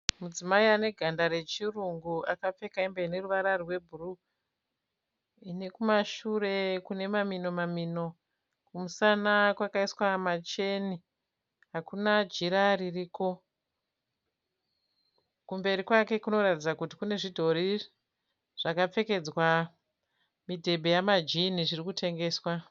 Mudzimai ane ganda rechirungu akapfeka hembe ine ruvara rwebhuruu ine kumashure kune mamino mamino kumusana kwakaiswa macheni hakuna jira ririko kumberi kwake kunoratidza kuti kune zvidhori zvakapfekedzwa midhebhe yamajini zvirikutengeswa.